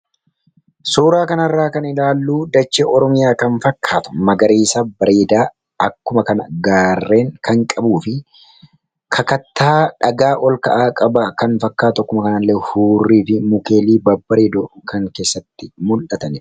suuraa kanarraa kan ilaalluu dachi ormiyaa kan fakkaata magariisa bareedaa akkuma kana gaarreen kan qabuu fi kakattaa dhagaa ol ka'aa qaba kan fakkaatu akkuma kanaillee huurrii fi mukeelii babaree do kan keessatti mul'atan